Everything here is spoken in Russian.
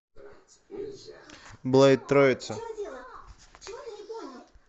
блэйд троица